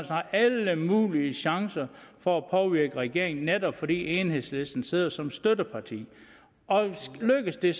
har alle mulige chancer for at påvirke regeringen netop fordi enhedslisten sidder som støtteparti og lykkes det